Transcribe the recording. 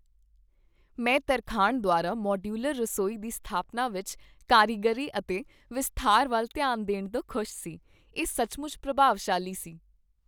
ਮੈਂ ਤਰਖਾਣ ਦੁਆਰਾ ਮਾਡਯੂਲਰ ਰਸੋਈ ਦੀ ਸਥਾਪਨਾ ਵਿੱਚ ਕਾਰੀਗਰੀ ਅਤੇ ਵਿਸਥਾਰ ਵੱਲ ਧਿਆਨ ਦੇਣ ਤੋਂ ਖੁਸ਼ ਸੀ। ਇਹ ਸੱਚਮੁੱਚ ਪ੍ਰਭਾਵਸ਼ਾਲੀ ਸੀ।